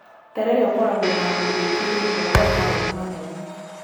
Terere ũkoragwo na agũri aingĩ thĩiniĩ wa mataũni manene.